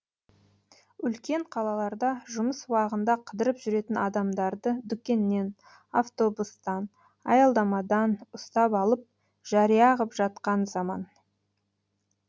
үлкен қалаларда жұмыс уағында қыдырып жүретін адамдарды дүкеннен автобустан аялдамадан ұстап алып жария ғып жатқан заман